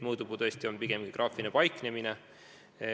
Mõõdupuu on tõesti pigem geograafiline paiknemine.